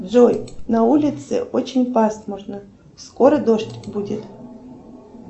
джой на улице очень пасмурно скоро дождь будет